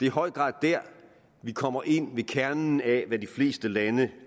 i høj grad der vi kommer ind til kernen af hvad de fleste lande